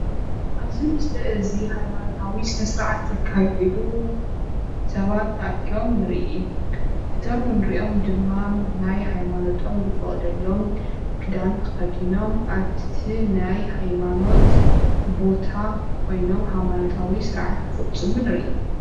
ኣብዚ ምስሊ እዙይ ሃይማኖታዊ ስነ ስርዓት ዘካይዱ ሰባት ተኣኪቦም ንሪኢ እቶም ንሪኦም ድማ ናይ ሃይማኖት ዝፈቅደሎም ክዳን ተከዲኖም ኣብቲ ናይ ሃይማኖት ቦታ ኮይኖም ሃይማኖታዊ ስርዓት ክቅፅሉ ንሪኢ።